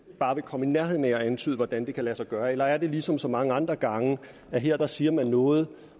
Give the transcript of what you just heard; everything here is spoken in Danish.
bare komme i nærheden af at antyde hvordan det kan lade sig gøre eller er det ligesom så mange andre gange at her siger man noget